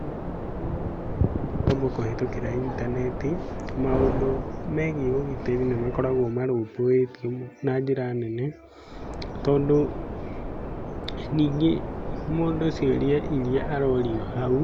Rĩrĩa mũndũ oyaga ngombo kũhĩtũkĩra intaneti, maũnũ megiĩ ũgitĩri nĩ makoragwo marũmbũĩtio na njĩra nene. Tondũ ningĩ mũndũ ciũria iria arorio hau